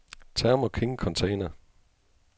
Thermo King Container